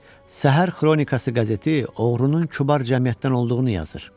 Səhər xronikası qəzeti oğrunun Kübar Cəmiyyətdən olduğunu yazır.